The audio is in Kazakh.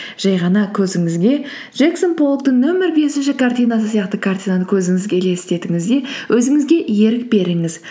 жай ғана көзіңізге джексон поллоктың нөмір бесінші картинасы сияқты картинаны көзіңізге елестетіңіз де өзіңізге ерік беріңіз